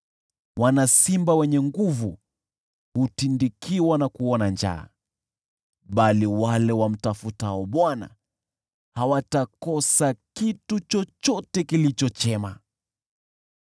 Wana simba wenye nguvu hutindikiwa na kuona njaa, bali wale wamtafutao Bwana hawatakosa kitu chochote kilicho chema.